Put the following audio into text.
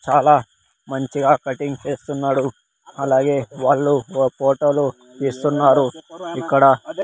చాలా మంచిగా కటింగ్ చేస్తున్నాడు అలాగే వాళ్ళు ఫోటోలు తీస్తున్నారు ఇక్కడ--